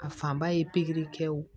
A fanba ye pikiri kɛ